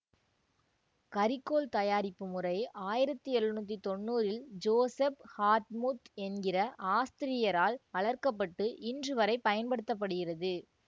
கரிக்கோல் தயாரிப்பு முறை ஆயிரத்தி எழுநூற்றி தொன்னூறில் ஜோஸெஃப் ஹார்ட்மூத் என்கிற ஆஸ்திரியரால் வளர்க்கப்பட்டு இன்றுவரை பயன்படுத்த படுகிறது